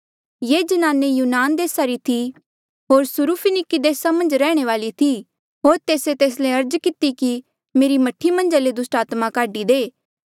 ये ज्नाने यूनान देसा री थी होर सुरूफिनिकी देसा मन्झ रैहणे वाली थी होर तेस्से तेस ले अर्ज किती कि मेरी मह्ठी मन्झा ले दुस्टात्मा काढी दे